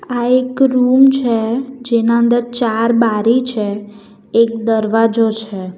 આ એક રૂમ છે જેના અંદર ચાર બારી છે એક દરવાજો છે.